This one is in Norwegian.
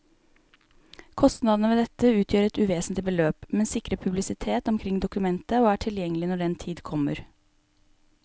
Kostnadene ved dette utgjør et uvesentlig beløp, men sikrer publisitet omkring dokumentet og er tilgjengelig når den tid kommer.